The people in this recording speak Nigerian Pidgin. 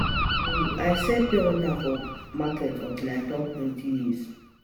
um I sell um I sell um pure water um for market until I turn twenty years